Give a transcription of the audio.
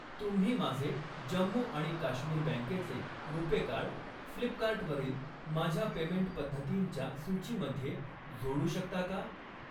तुम्ही माझे जम्मू आणि काश्मीर बँकेचे रुपे कार्ड, फ्लिपकार्ट वरील माझ्या पेमेंट पद्धतींच्या सूचीमध्ये जोडू शकता का?